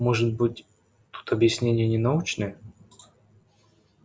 может быть тут объяснение не научное